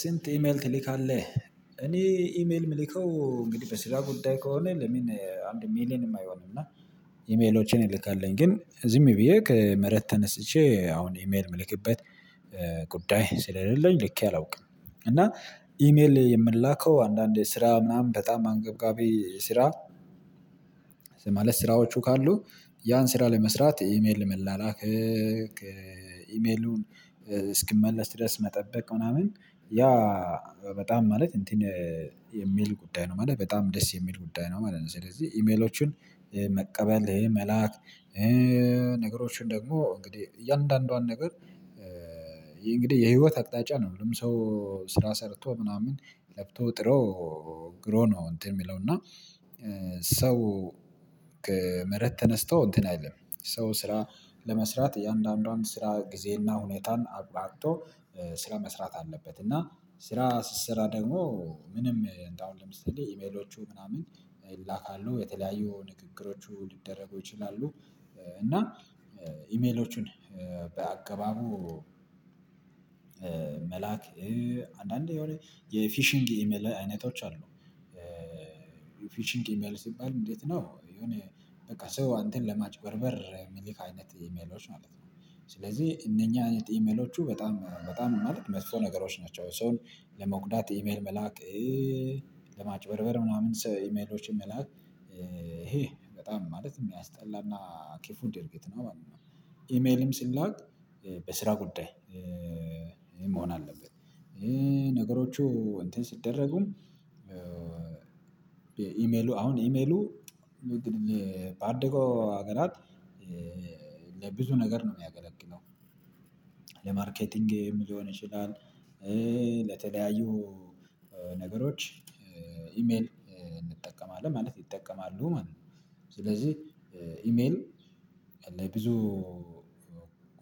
ስንት ኢሜል ትልካለህ? እኔ ኢሜል የምልከው እንግዲህ በስራ ጉዳይ ከሆነ ለምን አንድ ሚሊየንም አይሆንም እና ኢሜሎችን ይልካለሁኝ ግን ዝም ብዬ ከመሬት ተነስቼ አሁን ኢሜል የምልክበት ጉዳይ ስለሌለኝ ልኬ አላውቅም። እና ኢሜል የምላከው አንዳንዴ ስራ ምናምን በጣም አንገብጋቢ ስራ ማለት ስራዎቹ ካሉ ያን ስራ ለመስራት ኢሜል ለመላላክ ኢሜሉን እስኪመለስ ድረስ መጠበቅ ምናምን ያ በጣም ማለት እንትን የሚል ጉዳይ ነው ማለት በጣም ደስ የሚል ጉዳይ ነው ማለት ነው። ስለዚህ ኢሜሎቹን መቀበል መላክ ነገሮችን ደግሞ እንግዲህ እያንዳንዷን ነገር እንግዲህ የህይወት አቅጣጫ ነው ሁሉም ሰው ስራ ሰርቶ ምናምን ለፍቶ ጥሮ ግሮ ነው። እንትን የሚለው እና ሰው ከመሬት ተነስቶ እንትን አይደለም ሰው ስራ ለመስራት እያንዳንዱን ስራ ጊዜና ሁኔታን አቋርጦ ስራ መስራት አለበት። እና ስራ ሲሰራ ደግሞ ምንም እንደው ለምሳሌ ኢሜሎቹ ምናምን ይላካሉ የተለያዩ ንግግሮቹ ሊደረጉ ይችላሉ። እና ኢሜሎቹን በአገባቡ መላክ አንዳንዴ የሆነ የፊሽንግ ኢሜል አይነቶች አሉ ፊሺንግ ኢሜል ሲባል እንዴት ነው የሆነ በቃ ሰው አንተን ለማጭበርበር የሚል አይነት ኢሜሎች ማለት ነው። ስለዚህ እነኚህ አይነት ኢሜሎቹ በጣም በጣም ማለት መጥፎ ነገሮች ናቸው። ሰውን ኢሜል መላክ ለማጭበርበር ምናምን ሰው ኢሜሎችን መላክ ይሄ በጣም ማለት የሚያስጠላና ክፉ ድርጊት ነው ማለት ነው። ኢሜልም ሲላክ በስራ ጉዳይ መሆን አለበት። ነገሮቹ እንትን ሲደረጉም ኢሜሉ አሁን ኢሜሉ ባደገው ሀገራት ለብዙ ነገር ነው የሚያገለግለው ለማርኬቲንግም ሊሆን ይችላል። ለተለያዩ ነገሮች ኢሜል እንጠቀማለን ማለት ይጠቀማሉ ማለት ነው። ስለዚህ ኢሜል ለብዙ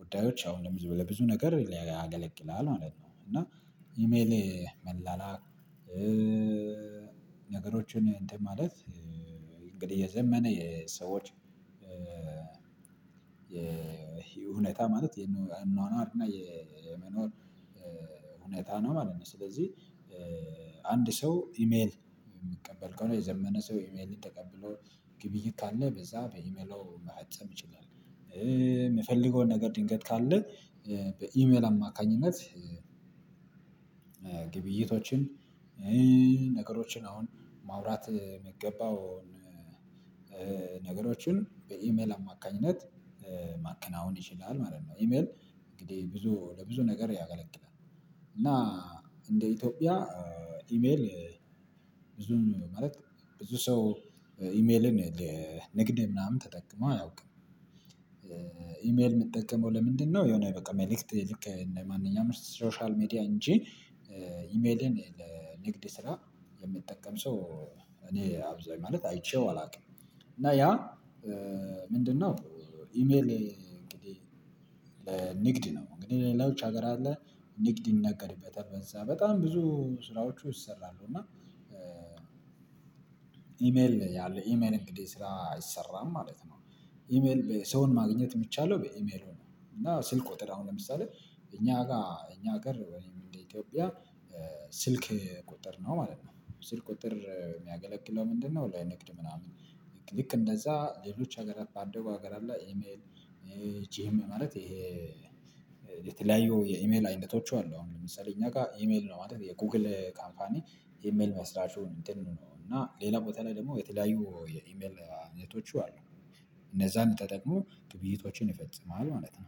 ጉዳዮች አሁንም ለብዙ ነገር ያገለግላል ማለት ነው። እና ኢሜሌ መላላክ ነገሮችን እንትን ማለት እንግዲህ የዘመነ የሰዎች የሁኔታ ማለት የአኗኗር እና የመኖር ሁኔታ ነው ማለት ነው። ስለዚህ አንድ ሰው ኢሜል የሚቀበል ከሆነ የዘመነ ሰው ኢሜል ተቀብሎ ግብይት ካለ በዛ በኢሜሉ መፈጸም ይችላል። የሚፈልገውን ነገር ድንገት ካለ በኢሜል አማካኝነት ግብይቶችን ነገሮችን አሁን ማውራት የሚገባውን ነገሮችን በኢሜል አማካኝነት ማከናወን ይችላል ማለት ነው። ኢሜል እንግዲህ ብዙ ለብዙ ነገር ያገለግላል እና እንደ ኢትዮጵያ ኢሜል ብዙም ማለት ብዙ ሰው ኢሜልን ለንግድ ምናምን ተጠቅሞ አያውቅም። ኢሜል የሚጠቀመው ለምንድነው? የሆነ በቃ መልእክት ልክ ለማንኛውም ሶሻል ሚዲያ እንጂ ኢሜልን ለንግድ ስራ የሚጠቀም ሰው እኔ አብዛኛው ማለት አይቼው አላውቅም። እና ያ ምንድነው? ኢሜል እንግዲህ ንግድ ነው እንግዲህ ሌላዎች ሀገር አለ ንግድ ይነገርበታል በዛ በጣም ብዙ ስራዎቹ ይሰራሉ እና ኢሜል ያለው ኢሜል እንግዲህ ስራ አይሰራም ማለት ነው። ኢሜል ሰውን ማግኘት የሚቻለው በኢሜሉ ነው እና ስልክ ቁጥር አሁን ለምሳሌ እኛ ጋር እኛ ሀገር ወይም እንደ ኢትዮጵያ ስልክ ቁጥር ነው ማለት ነው። ስልክ ቁጥር የሚያገለግለው ምንድነው? ለንግድ ምናምን ልክ እንደዛ ሌሎች ሀገር አባደጉ ሀገር አለ ኢሜል ይቺም ማለት ይሄ የተለያዩ የኢሜል አይነቶች አሉ። አሁን ለምሳሌ እኛ ጋር ኢሜል ነው ማለት የጎግል ካምፓኒ ኢሜል መስራቹ እንትን ነው እና ሌላ ቦታ ላይ ደግሞ የተለያዩ የኢሜል አይነቶቹ አሉ። እነዛን ተጠቅሞ ግብይቶችን ይፈጽማሉ ማለት ነው